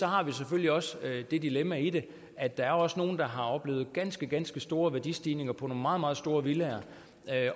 har vi selvfølgelig også det dilemma i det at der jo også er nogle der har oplevet ganske ganske store værdistigninger på nogle meget meget store villaer